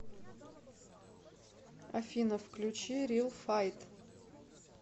афина включи рил файт